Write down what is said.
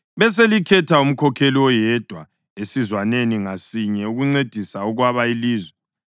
Beselikhetha umkhokheli oyedwa esizwaneni ngasinye ukuncedisa ukwaba ilizwe: